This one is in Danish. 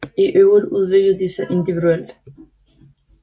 I øvrigt udviklede de sig individuelt